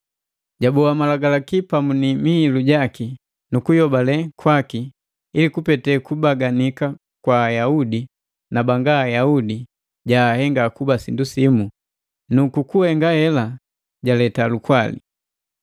Jaboa Malagalaki pamu ni mihilu jaki nu kuyobale kwaki, ili kupete kubaganika kwa Ayaudi na banga Ayaudi, jaahenga kuba sindu simu nu ku kuhenga hela jaleta lukwali.